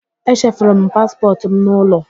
E chefuru m paspọtụ m n'ụlọ.